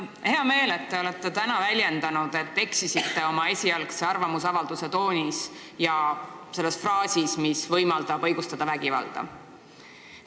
Mul on hea meel, et te olete täna tunnistanud, et te eksisite oma esialgse arvamusavalduse tooni valides ja pannes kirja fraasi, mida võib tõlgendada vägivalla õigustamisena.